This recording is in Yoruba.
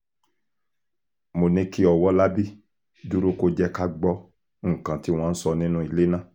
mo ní kí ọwọ́lábí dúró kó jẹ́ ká gbọ́ nǹkan tí wọ́n ń sọ nínú ilé ná